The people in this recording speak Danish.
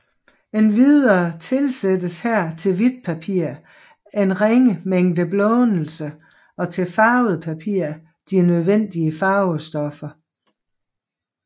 Endvidere tilsættes her til hvidt papir en ringe mængde blånelse og til farvet papir de nødvendige farvestoffer